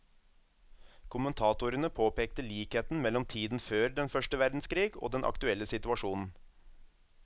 Kommentatorene påpekte likheten mellom tiden før den første verdenskrig og den aktuelle situasjonen.